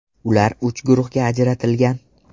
Ular uch guruhga ajratilgan.